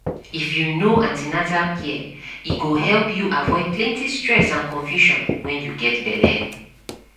if you know an ten atal care e go help you avoid plenty stress and confusion when you get belle